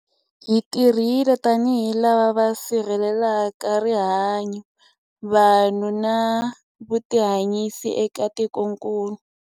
Hi tirhile tanihi lava va si rhelelaka rihanyu, vanhu na vutihanyisi eka tikokulu.